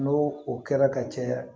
N'o o kɛra ka caya